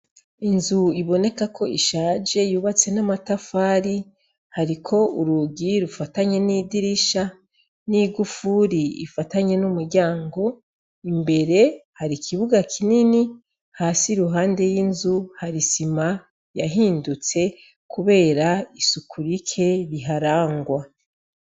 Inzu iboneka ko ishaje yubatse n'amatafari hariko urugi rufatanye n'idirisha n'igufuri ifatanye n'umuryango, imbere hari kibuga kinini hasi iruhande y'inzu hari isima yahindutse kubera isuku rike riharangwa.